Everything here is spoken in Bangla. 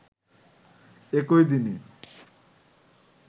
একই দিনে